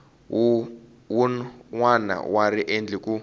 wun wana wa riendli ku